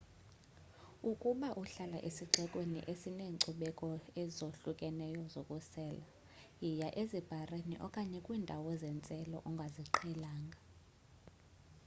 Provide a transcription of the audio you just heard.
ukuba uhlala esixekweni esineenkcubeko ezahlukeneyo zokusela yiya ezibharini okanye kwiindawo zentselo ongaziqhelanga